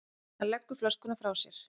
Hann leggur flöskuna frá sér.